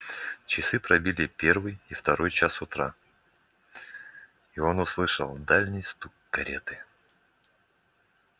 часы пробили первый и второй час утра и он услышал дальний стук кареты